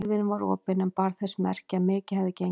Hurðin var opin en bar þess merki að mikið hefði gengið á.